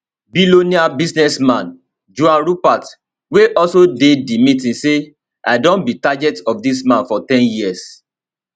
billionaire businessman johan rupert wey also dey di meeting say i don be target of dis man for ten years